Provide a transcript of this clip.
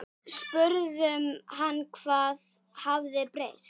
Við spurðum hann hvað hafi breyst?